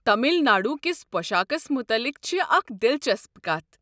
تمل ناڈو کِس پۄشاكس متعلِق چھِ اکھ دلچسپ کتھ۔